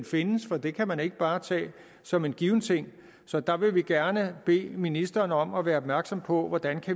findes for det kan man ikke bare tage som en given ting så der vil vi gerne bede ministeren om at være opmærksom på hvordan